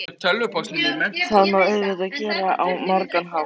Það má auðvitað gera á margan hátt.